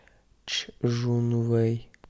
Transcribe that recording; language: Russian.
чжунвэй